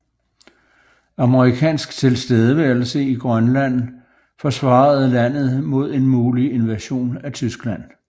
Amerikansk tilstedeværelse i Grønland forsvarede landet mod en mulig invasion af Tyskland